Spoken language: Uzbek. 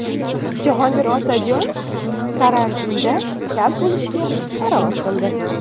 Jahongir Otajonov karantinda kal bo‘lishga qaror qildi.